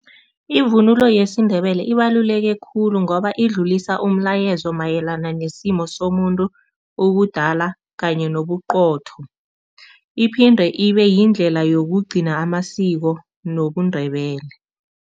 Ivunulo yesiNdebele ibaluleke khulu ngoba idlulisa umlayezo mayelana nesimo somuntu, ubudala kanye nobuqotho, iphinde ibeyindlela yokugcina amasiko nobuNdebele.